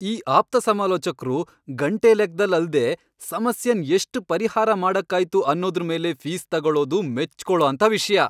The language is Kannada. ಈ ಆಪ್ತಸಮಾಲೋಚಕ್ರು ಗಂಟೆ ಲೆಕ್ದಲ್ಲ್ ಅಲ್ದೇ ಸಮಸ್ಯೆನ್ ಎಷ್ಟ್ ಪರಿಹಾರ ಮಾಡಕ್ಕಾಯ್ತು ಅನ್ನೋದ್ರ್ ಮೇಲೆ ಫೀಸ್ ತಗೊಳೋದು ಮೆಚ್ಕೊಳೋಂಥ ವಿಷ್ಯ.